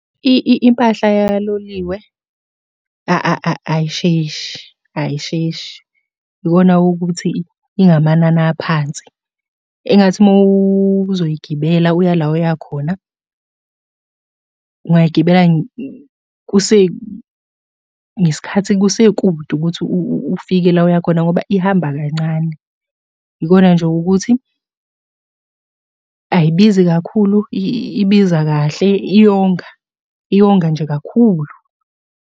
Impahla yaloliwe ayisheshe ayisheshi, ikona ukuthi ingamanani aphansi. Engathi uma uzoyigibela uya la oya khona, ungayigibeli ngesikhathi kusekude ukuthi ufike la oya khona ngoba ihamba kancane. Yikona nje ukuthi ayibizi kakhulu, ibiza kahle iyonga iyonga nje kakhulu.